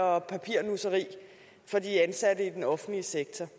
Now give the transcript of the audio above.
og papirnusseri for de ansatte i den offentlige sektor